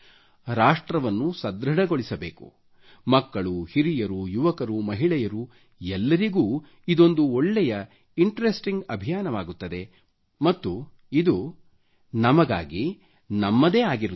ರಾಷ್ಟ್ರವನ್ನು ಸಧೃಡಗೊಳಿಸಬೇಕು ಮಕ್ಕಳು ಹಿರಿಯರು ಯುವಕರು ಮಹಿಳೆಯರು ಎಲ್ಲರಿಗು ಇದೊಂದು ಒಳ್ಳೆ ಇಂಟರೆಸ್ಟಿಂಗ್ ಅಭಿಯಾನವಾಗುತ್ತದೆ ಮತ್ತು ಇದು ನಮಗಾಗಿ ನಮ್ಮದೇ ಆಗಿರುತ್ತದೆ